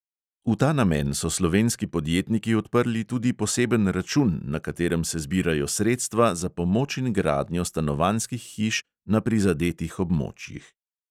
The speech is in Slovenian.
V ta namen so slovenski podjetniki odprli tudi poseben račun, na katerem se zbirajo sredstva za pomoč in gradnjo stanovanjskih hiš na prizadetih območjih.